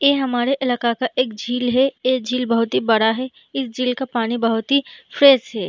ये हमारे इलाका का एक झील है ये झील बोहोत ही बड़ा है इस झील का पानी बोहोत ही फ्रेश है।